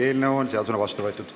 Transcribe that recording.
Eelnõu on seadusena vastu võetud.